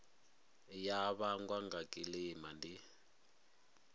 ya vhangwa nga kilima ndi